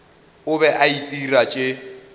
o be a itira tše